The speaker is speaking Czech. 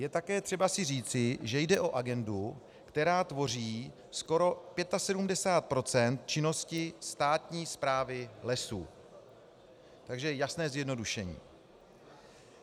Je také třeba si říci, že jde o agendu, která tvoří skoro 75 % činnosti státní správy lesů, takže jasné zjednodušení.